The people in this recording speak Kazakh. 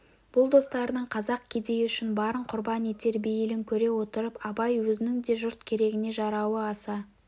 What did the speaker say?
бұл достарының қазақ кедейі үшін барын құрбан етер бейілін көре отырып абай өзінің де жұрт керегіне жарауы аса